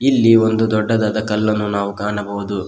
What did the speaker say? ಈ ಒಂದು ದೊಡ್ಡದಾದ ಕಲ್ಲನ್ನು ನಾವು ಕಾಣಬಹುದು.